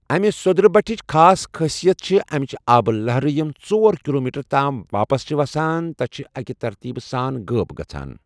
امہِ سوٚدرٕ بٹھٕچ خاص خٲصیت چھِ أمچہِ آبہٕ لہرٕ یِم ژۄر کلومیٹر تام واپس چھِ وسان تہٕ چھِ اکہِ ترتیٖب سان غٲب گژھان۔